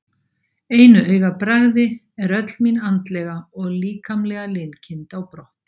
einu augabragði er öll mín andlega og líkamlega linkind á brott.